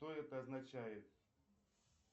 что это означает